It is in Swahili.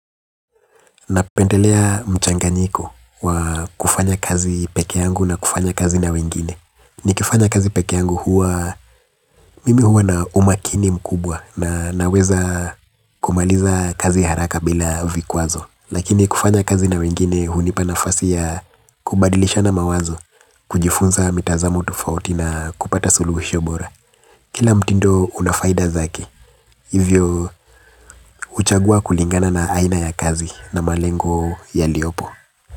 Napendelea mchanganyiko wa kufanya kazi pekeyangu na kufanya kazi na wengine. Nikifanya kazi pekeyangu huwa mimi huwa na umakini mkubwa na naweza kumaliza kazi haraka bila vikwazo. Lakini kufanya kazi na wengine hunipa nafasi ya kubadilishana mawazo, kujifunza mitazamo tofauti na kupata suluhisho bora. Kila mtindo una faida zake, hivyo huchagua kulingana na aina ya kazi na malengo yaliyopo.